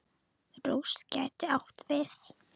Rúst gæti átt við